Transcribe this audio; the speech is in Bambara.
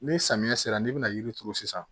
Ni samiya sera n'i bɛna yiri turu sisan